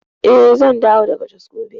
Eh, zan dawo daga Jos gobe.